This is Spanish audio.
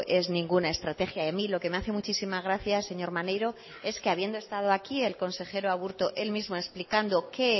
es ninguna estrategia a mí lo que me hace muchísima gracia señor maneiro es que habiendo estado aquí el consejero aburto él mismo ha explicado qué